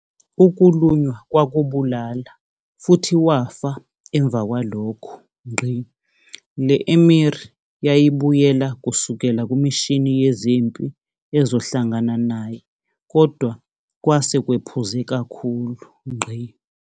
Ukulunywa kwakubulala futhi wafa emva kwalokho. Le-Emir yayibuyela kusukela kumishini yezempi ezohlangana naye kodwa kwase kwephuze kakhulu.